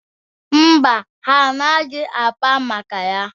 Mba, ha anaghị akpa maka ya.